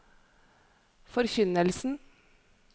forkynnelsen